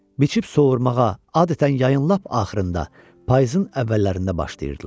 Biçib sovuırmağa adətən yayın lap axırında, payızın əvvəllərində başlayırdılar.